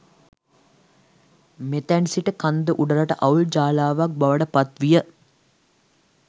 මෙතැන් සිට කන්ද උඩරට අවුල් ජාලාවක් බවට පත්විය.